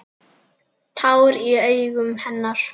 Tár í augum hennar.